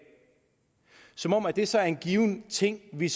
som om at det så er en given ting vi